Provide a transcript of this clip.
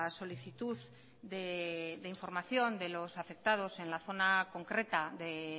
solicitud de información de los afectados en la zona concreta de